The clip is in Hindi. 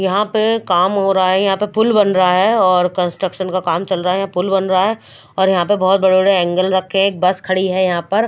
यहाँ पे काम हो रहा है यहाँ पे पुल बन रहा है और कंस्ट्रक्शन का काम चल रहा है यहाँ पर पुल बन रहा है और यहाँ पे बहोत बड़े बड़े एंगल रखे है और बस खड़ी है यहाँ पर।